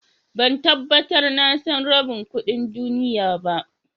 Ban tabatar na san rabin kudin duniyya ba.